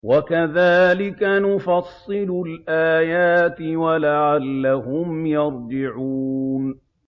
وَكَذَٰلِكَ نُفَصِّلُ الْآيَاتِ وَلَعَلَّهُمْ يَرْجِعُونَ